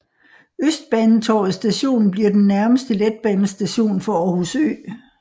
Østbanetorvet Station bliver den nærmeste letbanestation for Aarhus Ø